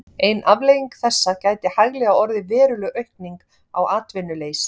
Ein afleiðing þessa gæti hæglega orðið veruleg aukning á atvinnuleysi.